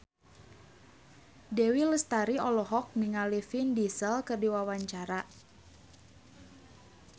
Dewi Lestari olohok ningali Vin Diesel keur diwawancara